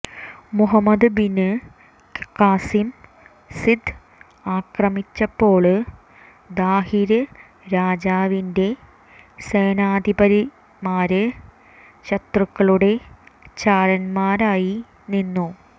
Muhammad bin Qasim Sindh ആക്രമിച്ചപ്പോള് ദാഹിര് രാജാവിന്റെ സേനാധിപന്മാര് ശത്രുക്കളുടെ ചാരന്മാരായിനിന്നു